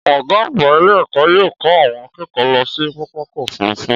Ọgá àgbà ilé ẹkọ yóò ko àwọn akẹ́kọ̀ọ́ lọ sí pápákọ̀ òfúrufú.